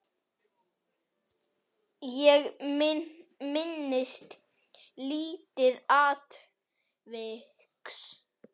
Ég minnist lítils atviks.